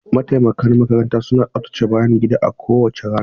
Mataimakan makaranta suna tsaftace bayan gida a kowace rana.